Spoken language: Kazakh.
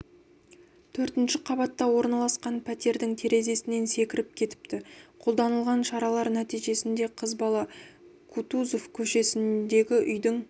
төртінші қабатта орналасқан пәтердің терезесінен секіріп кетіпті қолданылған шаралар нәтижесінде қыз бала кутузов көшесіндегі үйдің